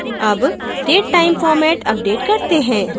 अब datetime format update करते हैं